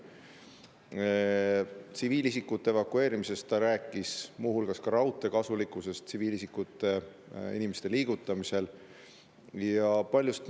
Ta rääkis tsiviilisikute evakueerimisest, muu hulgas raudtee kasulikkusest tsiviilisikute liigutamisel ja paljust muust.